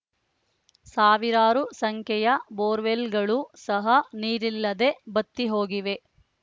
ಸಾವಿರಾರು ಸಂಖ್ಯೆಯ ಬೋರ್‌ವೆಲ್‌ಗಳು ಸಹ ನೀರಿಲ್ಲದೆ ಬತ್ತಿಹೋಗಿವೆ